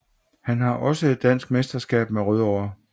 Han har også et dansk mesterskab med Rødovre